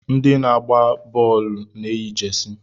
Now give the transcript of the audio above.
Ndị na-agba bọọlụ na-eyi jesi.